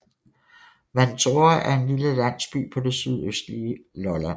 Vantore er en lille landsby på det sydøstlige Lolland